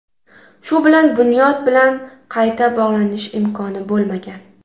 Shu bilan Bunyod bilan qayta bog‘lanish imkoni bo‘lmagan.